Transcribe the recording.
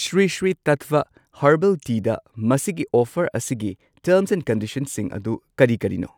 Shri Sri Tattva herbal ꯇꯤꯗ ꯃꯁꯤꯒꯤ offer ꯑꯁꯤꯒꯤ ꯇꯔꯝꯁ ꯑꯦꯟ ꯀꯟꯗꯤꯁꯟꯁꯤꯡ ꯑꯗꯨ ꯀꯔꯤ ꯀꯔꯤꯅꯣ?